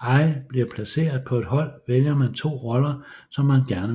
ay blive placeret på et hold vælger man 2 roller som man gerne vil spille